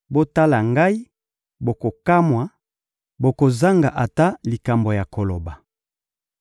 Botala ngai, bokokamwa, bokozanga ata likambo ya koloba.